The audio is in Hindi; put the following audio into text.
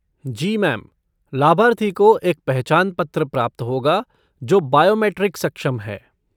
जी मैम! लाभार्थी को एक पहचान पत्र प्राप्त होगा जो बायोमेट्रिक सक्षम है।